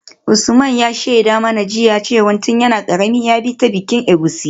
Usman ya shaida mana jiya cewa tun yana karami ya bi ta bikin egusi.